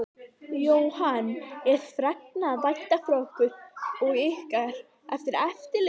Jóhann: Er fregna að vænta frá ykkur og ykkar eftirliti?